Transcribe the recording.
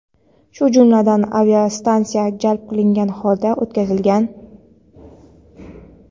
shu jumladan aviatsiyani jalb qilgan holda o‘tkazilgan.